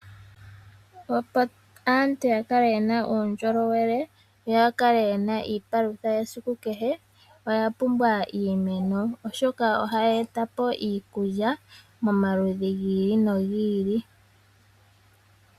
Opo aantu yakale yena uundjolowele yo yakale yena iipalutha yesiku kehe oya pumbwa iimeno, oshoka ohayi etapo iikulya pamaludhi gi ili no gi ili.